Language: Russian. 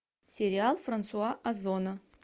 сериал франсуа озона